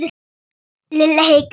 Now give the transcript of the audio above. Lilla hikaði.